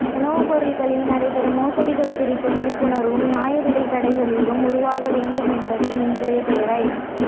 உணவுப்பொருட்களில் நடைபெறும் மோசடிகள் குறித்த விழிப்புணர்வும் நியாயவிலை கடைகளும் உருவாக வேண்டும் என்பதே இன்றைய தேவை